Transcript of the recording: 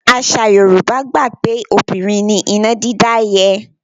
Àṣà Yorùbá gbà pé obìnrin ni iná dídá yẹ́.